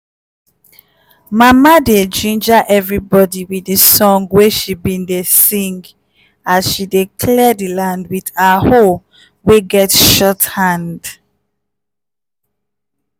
mama dey ginger everibodi with di song wey she bin dey sing as she dey clear di land with her hoe wey get short hand.